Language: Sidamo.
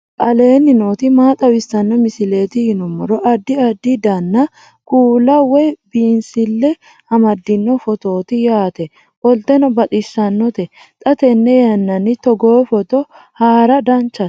aleenni nooti maa xawisanno misileeti yinummoro addi addi dananna kuula woy biinsille amaddino footooti yaate qoltenno baxissannote xa tenne yannanni togoo footo haara danchate